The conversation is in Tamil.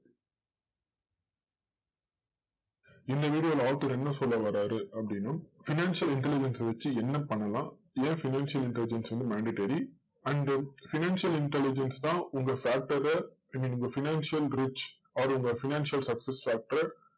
இந்த video ல author என்ன சொல்ல வராரு அப்படின்னா financial intelligence அ வச்சு என்ன பண்ணலாம்? ஏன் financial intelligence வந்து mandatory and financial intelligence தான் உங்க factor அ i mean உங்க financial grudge or உங்க financial success factor அ